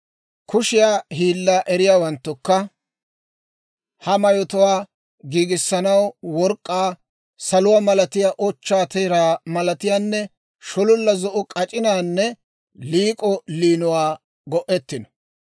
Kushiyaa hiilaa eriyaawanttukka ha mayotuwaa giigissanaw work'k'aa, saluwaa malatiyaa, ochchaa teeraa malatiyaanne shololla zo'o k'ac'inaanne liik'o liinuwaa go'ettino.